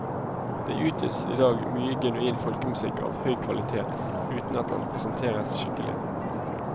Det utgis i dag mye genuin folkemusikk av høy kvalitet, uten at den presenteres skikkelig.